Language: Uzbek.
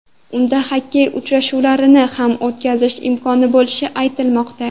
Unda xokkey uchrashuvlarini ham o‘tkazish imkoni bo‘lishi aytilmoqda.